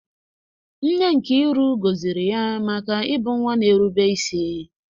Nne Nkiru gọziri ya maka ịbụ nwa na-erube isi.